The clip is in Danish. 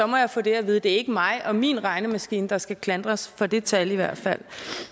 må jeg få det at vide det er ikke mig og min regnemaskine der skal klandres for det tal